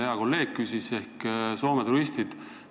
Hea kolleeg küsis Soome turistide kohta.